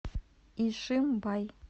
ишимбай